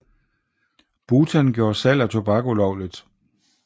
Bhutan gjorde slag af tobak ulovligt